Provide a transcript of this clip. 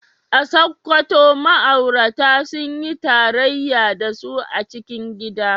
A Sakkwato ma’aurata sun yi tarayya da su a cikin gida.